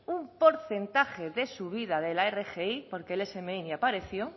un porcentaje de subida de la rgi porque el smi ni apareció